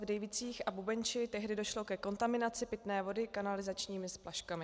V Dejvicích a Bubenči tehdy došlo ke kontaminaci pitné vody kanalizačními splaškami.